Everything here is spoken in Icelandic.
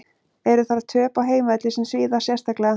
Eru þar töp á heimavelli sem svíða sérstaklega.